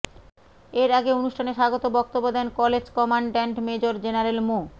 এর আগে অনুষ্ঠানে স্বাগত বক্তব্য দেন কলেজ কমান্ড্যান্ট মেজর জেনারেল মো